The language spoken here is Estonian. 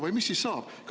Või mis siis saab?